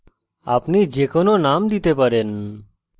আপনি যে কোনো name দিতে পারেন